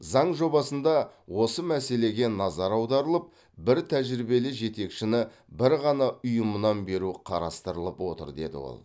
заң жобасында осы мәселеге назар аударылып бір тәжірибелі жетекшіні бір ғана ұйымнан беру қарастырылып отыр деді ол